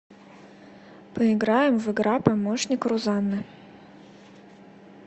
поиграем в игра помощник рузанны